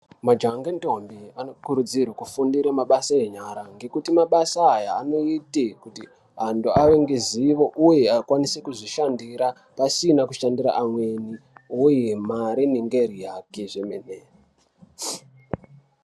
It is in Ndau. Majaha ne ndombi ano kurudzirwe kufundire mabasa enyara ngekuti mabasa aya anoite kuti antu ave ngezivo uye akwanise kuzvi shandira pasina kushandira amweni uye mari inenge iri yake zvemene.